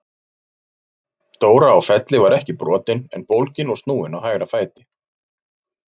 Dóra á Felli var ekki brotin en bólgin og snúin á hægra fæti.